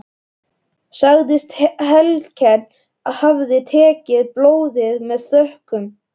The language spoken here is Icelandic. Sagðist Hallkell hafa tekið boðinu með þökkum.